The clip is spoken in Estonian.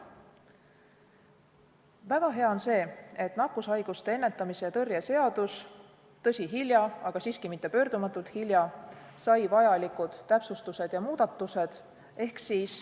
Väga hea on see, et nakkushaiguste ennetamise ja tõrje seadus sai – tõsi, hilja, aga siiski mitte pöördumatult hilja – vajalikud täpsustused ja muudatused.